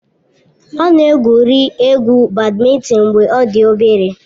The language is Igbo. Ọ na-egwuri egwu bádmintịn mgbe ọ dị obere.